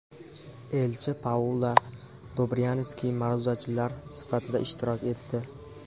elchi Paula Dobryanski ma’ruzachilar sifatida ishtirok etdi.